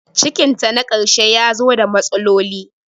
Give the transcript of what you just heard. Cikin ta na karshe yazo ta matsaloli